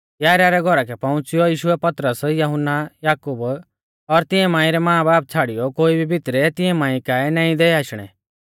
याईरा रै घौरा कै पौउंच़ियौ यीशुऐ पतरस यहुन्ना याकूब और तिंऐ मांई रै मांबाबा छ़ाड़ियौ कोई भी भितरै तिऐं मांई काऐ नाईं दै आशणै